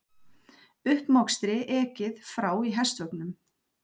Uppmokstri ekið frá í hestvögnum.